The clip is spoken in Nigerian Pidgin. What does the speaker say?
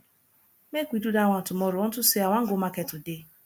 make we do dat one tomorrow unto say i wan go market today